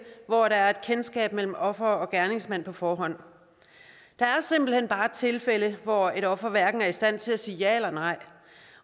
hvor der er kendskab mellem offer og gerningsmand på forhånd der er simpelt hen bare tilfælde hvor et offer hverken er i stand til at sige ja eller nej